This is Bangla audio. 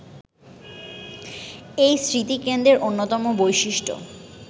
এই স্মৃতিকেন্দ্রের অন্যতম বৈশিষ্ট্য